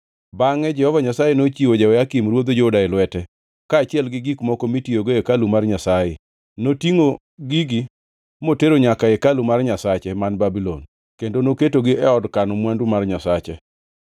Bangʼe Jehova Nyasaye nochiwo Jehoyakim ruodh Juda e lwete, kaachiel gi gik moko mitiyogo e hekalu mar Nyasaye. Notingʼo gigi motero nyaka e hekalu mar nyasache, man Babulon, kendo noketogi ei od kano mwandu mar nyasache.